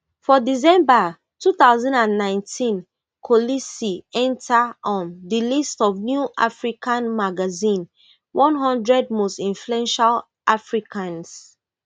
for december two thousand and nineteen kolisi enta um di list of new african magazine one hundred most influential africans